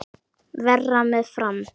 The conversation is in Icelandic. Verra með Fram.